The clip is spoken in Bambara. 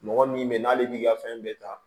Mɔgɔ min bɛ ye n'ale b'i ka fɛn bɛɛ ta